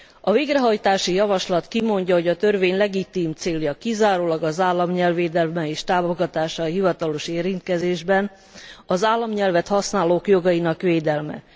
A végrehajtási javaslat kimondja, hogy a törvény legitim célja kizárólag az államnyelv védelme és támogatása a hivatalos érintkezésben, az államnyelvet használók jogainak védelme.